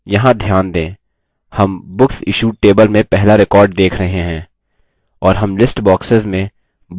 यहाँ ध्यान दें हम books issued table में पहला record देख रहे हैं